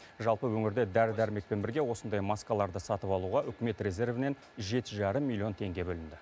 жалпы өңірде дәрі дәрмекпен бірге осындай маскаларды сатып алуға үкімет резервінен жеті жарым миллион теңге бөлінді